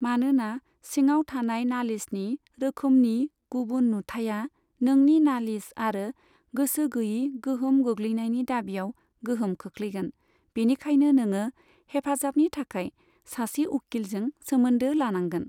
मानोना सिङाव थानाय नालिसनि रोखोमनि गुबुन नुथाया नोंनि नालिस आरो गोसो गैयै गोहोम गोग्लैनायनि दाबियाव गोहोम खोख्लैगोन, बिनिखायनो नोङो हेफाजाबनि थाखाय सासे उखिलजों सोमोनदो लानांगोन।